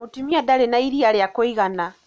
Mũtumia ndarĩna iria rĩa kũigana.